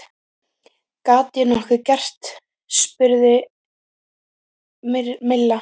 Get ég nokkuð gert? spurði Milla.